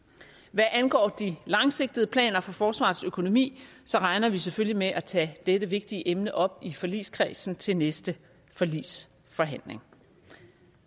hvad angår de langsigtede planer for forsvarets økonomi regner vi selvfølgelig med at tage dette vigtige emne op i forligskredsen til næste forligsforhandling